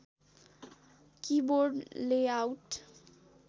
keyboard layout